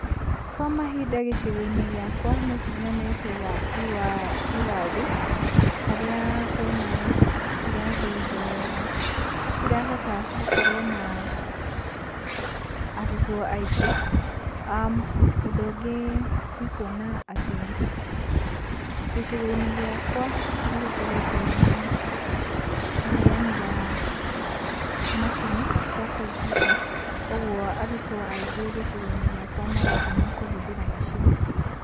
Kwa mahinda gĩcigo-inĩ gĩakwa nĩ nyonete waki wa irathi, harĩa kwĩna irathi njegega, ĩrĩa ĩrahota gũkorwo na arutwo aingĩ. Ũndũ ũngĩ nĩ kiona atĩ gĩcigo gĩakwa nĩ gũkoretwona ũheani wa macini cia komputa koguo arurwo aingĩ gĩcigo-inĩ gĩakwa marathoma kũhũthĩra macini-ici.